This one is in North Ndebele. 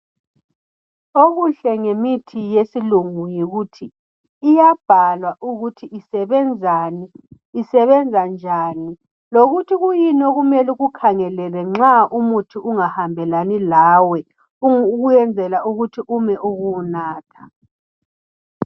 Okuhle ngemithi yesilungu yikuthi iyabhalwa ukuthi isebenzani, isebenza njani lokuthi kuyini okhmele ukukhangelele nxa umuthi ungahambelani lawe ukwenzela ukuthi ume ukuwunatha.